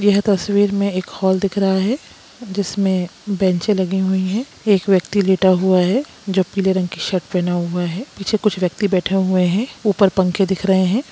यह तस्वीर में एक हॉल दिख रहा है जिसमे बेंचे लगी हुई है एक व्यक्ति लेटा हुआ है जो पीले रंग की शर्ट पहना हुआ है पीछे कुछ व्यक्ति बैठा हुआ है ऊपर पंखे दिख रहे है।